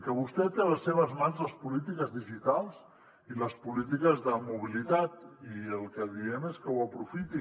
que vostè té a les seves mans les polítiques digitals i les polítiques de mobilitat i el que diem és que ho aprofiti